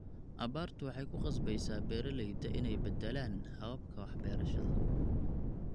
Abaartu waxay ku khasbaysaa beeralayda inay beddelaan hababka wax-beerashada.